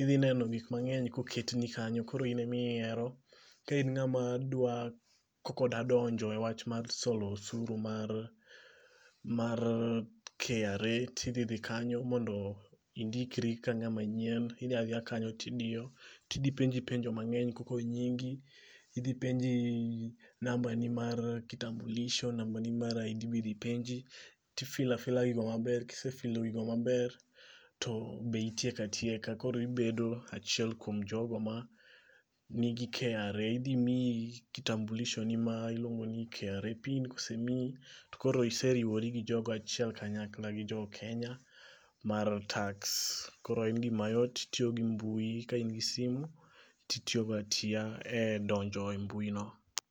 idhi neno gik mang'eny koket ni kanyo koro in ime yiero. Ka in ng'ama dwa koko dwa donjo e wach mar solo usuru mar KRA tidhi dhi kanyo mondo indikri ka ng'ama nyien. Idhi adhiya kanyo tidiyo. Tidhi penji penjo mang'eny koko nyingi. Idhi penji namba ni mar kitambulisho. Namba ni mar ID bidhi penji. Tifila fila gigo maber. Kisefilo gigo maber to be itieko atieka. Koro ibedo achiel kuom jogo ma nigi KRA. Idhi miyi kitambulisho ni ma iluongo ni KRA PIN. Kosemiyi to koro iseriwori gi jogo achiel kanyakla gi jo Kenya mar tax. Koro en gima yot tiyo gi mbuyi ka in gi simu itiyogo atiya e donjo e mbui no.